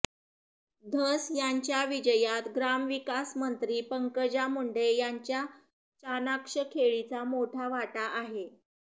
धस यांच्या विजयात ग्रामविकास मंत्री पंकजा मुंडे यांच्या चाणाक्ष खेळीचा मोठा वाटा आहे